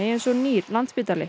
eins og nýr